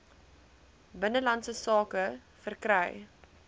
binnelandse sake verkry